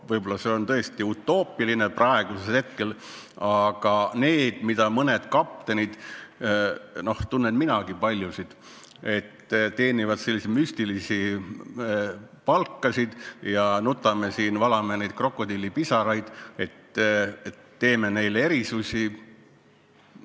Võib-olla see on tõesti utoopiline praegusel hetkel, aga need mõned kaptenid – tunnen minagi paljusid – teenivad müstilisi palkasid ja me nutame siin, valame krokodillipisaraid, et me teeme neile erisusi.